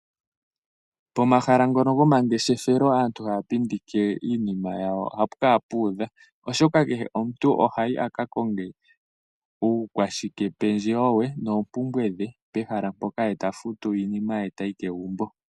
Pomahala ngono gomangeshefelo aantu haa pindike iinima yawo ohaapu kala puudha oshoka kehe omuntu ohayi a ka konge uukwashikependjewo we noompumbwe dhe pehala mpoka ye eta futu iinima ye tayi kegumbo